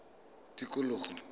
tikologo